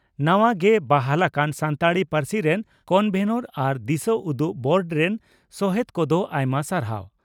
ᱱᱟᱣᱟ ᱜᱮ ᱵᱟᱦᱟᱞ ᱟᱠᱟᱱ ᱥᱟᱱᱛᱟᱲᱤ ᱯᱟᱹᱨᱥᱤ ᱨᱮᱱ ᱠᱚᱱᱵᱷᱮᱱᱚᱨ ᱟᱨ ᱫᱤᱥᱟᱹᱩᱫᱩᱜ ᱵᱳᱨᱰ ᱨᱮᱱ ᱥᱚᱦᱮᱛ ᱠᱚᱫᱚ ᱟᱭᱢᱟ ᱥᱟᱨᱦᱟᱣ ᱾